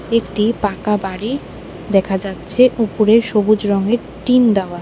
একটি পাকা বাড়ি দেখা যাচ্ছে উপরে সবুজ রঙের টিন দেওয়া।